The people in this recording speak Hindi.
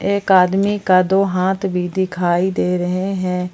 एक आदमी का दो हाथ भी दिखाई दे रहे हैं।